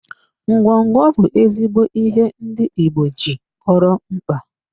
Ngwobi bụ ezigbo ihe ndị igbo ji kpọrọ mkpa.